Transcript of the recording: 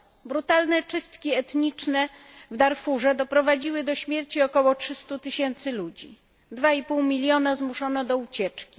Brutalne czystki etniczne w Darfurze doprowadziły do śmierci około 300 tysięcy ludzi, 2,5 miliona zmuszono do ucieczki.